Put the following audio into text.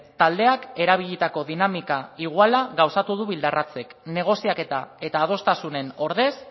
taldeak erabilitako dinamika iguala gauzatu du bildarratzek negoziaketa eta adostasunen ordez